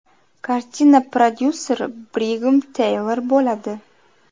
Kartina prodyuseri Brigem Teylor bo‘ladi.